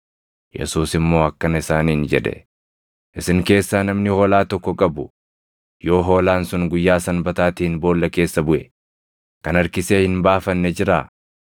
Yesuus immoo akkana isaaniin jedhe; “Isin keessaa namni hoolaa tokko qabu, yoo hoolaan sun guyyaa Sanbataatiin boolla keessa buʼe, kan harkisee hin baafanne jiraa?